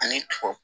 Ani kɔkɔ